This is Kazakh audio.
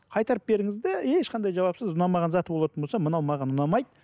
қайтарып беріңіз де ешқандай жауапсыз ұнамаған заты болатын болса мынау маған ұнамайды